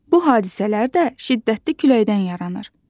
Bu hadisələr də şiddətli küləkdən yaranır.